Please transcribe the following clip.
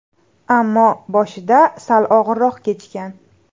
Ammo boshida sal og‘irroq kechgan.